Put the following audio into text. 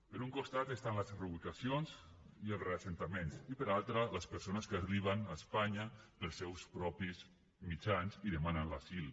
per un costat estan les reubicacions i els reassentaments i per altre les persones que arriben a espanya pels seus propis mitjans i demanen l’asil